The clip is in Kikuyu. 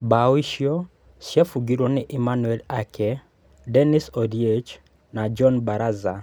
Mbao icio ciabugirwo nĩ Emmanuel Ake, Dennis Oliech na John Baraza.